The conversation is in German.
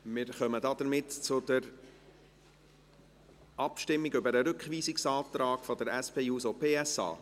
Wir kommen zur Abstimmung über den Rückweisungsantrag der SP-JUSO-PSA.